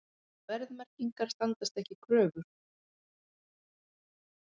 Verðmerkingar standast ekki kröfur